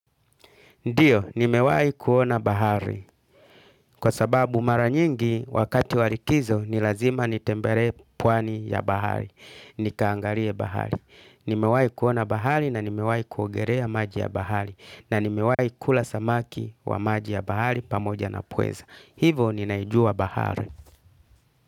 Ndiyo, nimewahi kuona bahari kwa sababu mara nyingi wakati wa likizo ni lazima nitembelee pwani ya bahari, nikaangalie bahari. Nimewahi kuona bahari na nimewahi kuogelea maji ya bahari na nimewahi kula samaki wa maji ya bahari pamoja na pweza. Hivo ninaijua bahari.